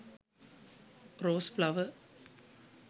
rose flower